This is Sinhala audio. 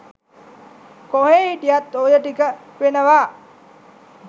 කොහේ හිටියත් ඔය ටික වෙනවා.